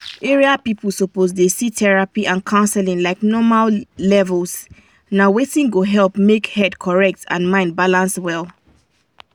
area people suppose dey see therapy and counseling like normal levels na wetin go help make head correct and mind balance well.